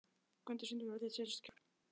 Gvöndur, syngdu fyrir mig „Þitt síðasta skjól“.